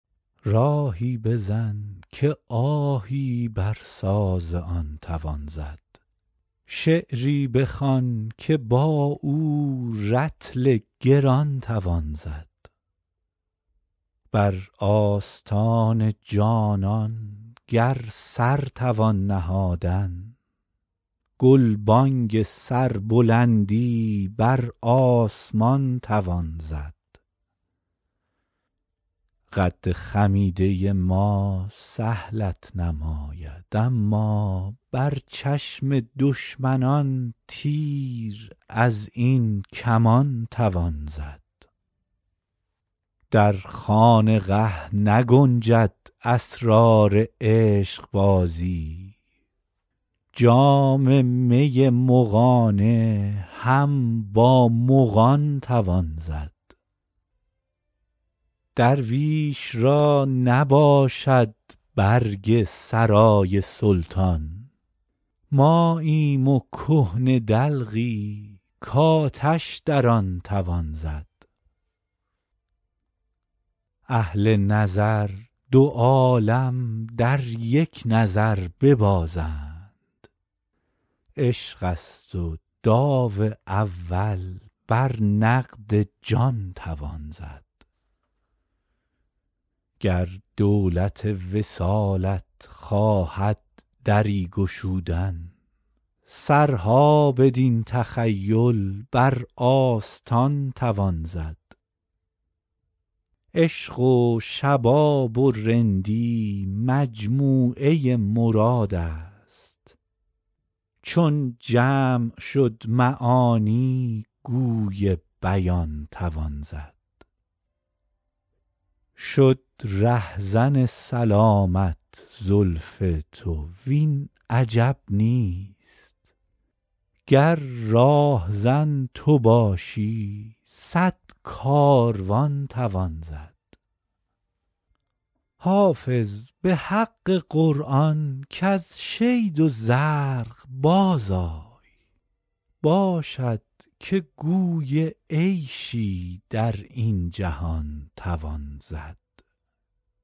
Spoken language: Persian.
راهی بزن که آهی بر ساز آن توان زد شعری بخوان که با او رطل گران توان زد بر آستان جانان گر سر توان نهادن گلبانگ سربلندی بر آسمان توان زد قد خمیده ما سهلت نماید اما بر چشم دشمنان تیر از این کمان توان زد در خانقه نگنجد اسرار عشقبازی جام می مغانه هم با مغان توان زد درویش را نباشد برگ سرای سلطان ماییم و کهنه دلقی کآتش در آن توان زد اهل نظر دو عالم در یک نظر ببازند عشق است و داو اول بر نقد جان توان زد گر دولت وصالت خواهد دری گشودن سرها بدین تخیل بر آستان توان زد عشق و شباب و رندی مجموعه مراد است چون جمع شد معانی گوی بیان توان زد شد رهزن سلامت زلف تو وین عجب نیست گر راهزن تو باشی صد کاروان توان زد حافظ به حق قرآن کز شید و زرق بازآی باشد که گوی عیشی در این جهان توان زد